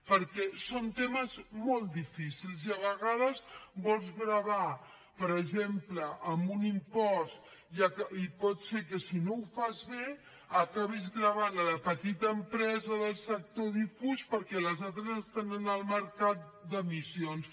perquè són temes molt difícils i a vegades vols gravar per exemple amb un impost i pot ser que si no ho fas bé acabis gravant la petita empresa del sector difús perquè les altres estan en el mercat d’emissions